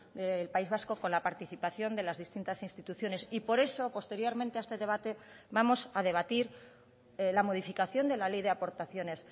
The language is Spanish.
del país vasco con la participación de las distintas instituciones y por eso posteriormente a este debate vamos a debatir la modificación de la ley de aportaciones